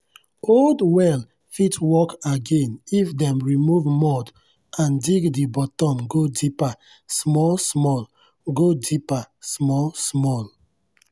old well fit work again if dem remove mud and dig di bottom go deeper small-small. go deeper small-small.